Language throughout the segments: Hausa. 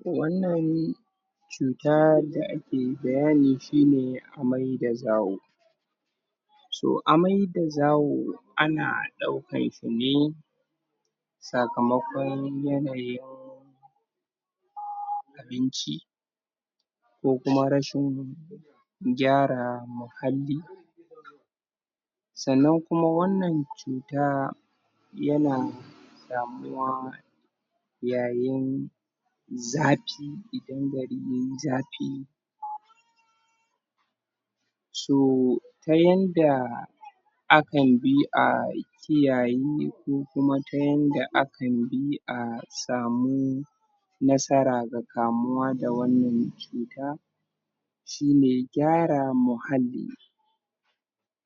ko wannan ne cuta da ake bayani shi ne amai da zawo so, amai da zawo ana ɗaukan shi ne sakamakon yanayin abinci ko kuma rashin gyara muhalli sannan kuma wannan cuta yana samuwa yayin zafi, idan gari ya yi zafi so, ta yanda akan bi a kiyaye, ko kuma ta yanda akan bi a samu nasara ga kamuwa da wannan cuta shi ne gyara muhalli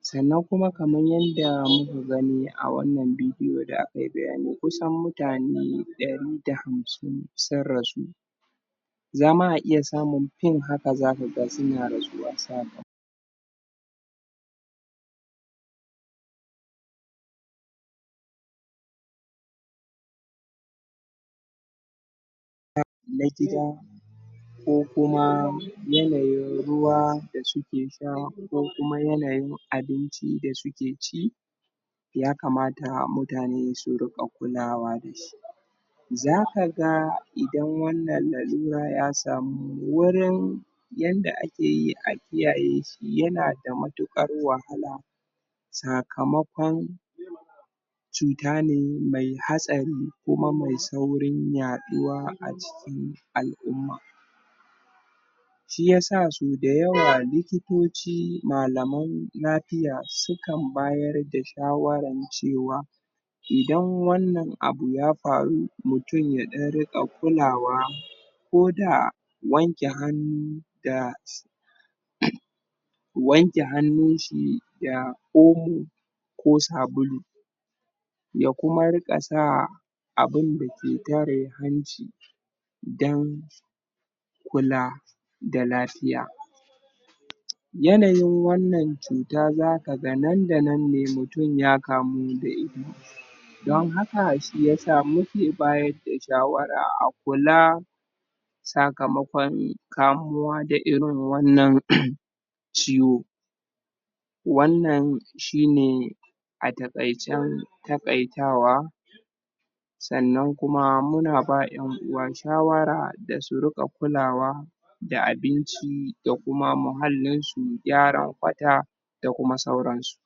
sannan kuma kamar yadda muka gani a wannan bidiyo da a kai bayani, kusan mutane ɗari da hamsin sun rasu zama a iya samun fin haka zaka ga suna rasuwa saka na gida ko kuma yanayin ruwa da suke sha, ko kuma yanayin abinci da suke ci yakamata mutane su riƙa kulawa da shi zaka ga idan wannan lalura ya samu wurin yanda ake yi a kiyaye shi yana da matuƙar wahala sakamakon cuta ne mai hatsari kuma mai saurin yaɗuwa a cikin al'umma shi yasa so da yawa likitoci, malamai lafiya sukan bayar da shawaran cewa idan wannan abu ya faru, mutum ya ɗan riƙa kulawa ko da wanke hannu da sa wanke hannunshi da omo ko sabulu ya kuma riƙa sa abin da ke tare hanci don kula da lafiya yanayin wannan cuta zaka ga nan da nan ne mutum ya kamu da ita don haka shi yasa muke bayar da shawara a kula sakamakon kamuwa da irin wannan ciwo wannan shi ne a taƙaicen taƙaitawa sannan kuma muna ba ƴan uwa shawara da su riƙa kulawa da abinci, da kuma muhallinsu, gyaran kwata da kuma sauransu